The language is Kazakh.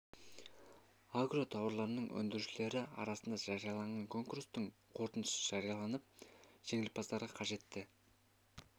агро тауарларын өндірушілері арасында жарияланған конкурстың қорытындысы жарияланып жеңімпаздарға қажетті